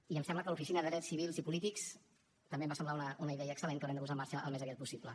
i em sembla que l’oficina de drets civils i polítics també em va semblar una idea excel·lent que haurem de posar en marxa al més aviat possible